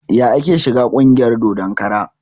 Yaya ake shiga ƙungiyar dodon kara?